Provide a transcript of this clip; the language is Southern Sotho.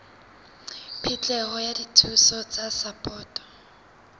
phihlelo ya dithuso tsa sapoto